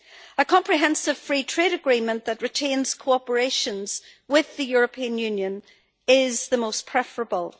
A comprehensive free trade agreement that retains cooperation with the European Union is the most preferable.